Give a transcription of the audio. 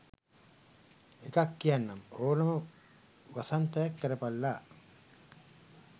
එකක් කියන්නම් ඕනම වසන්තයක් කරපල්ලා